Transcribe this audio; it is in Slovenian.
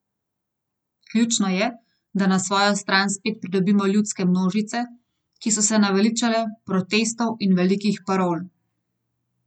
Ključno je, da na svojo stran spet pridobimo ljudske množice, ki so se naveličale protestov in velikih parol.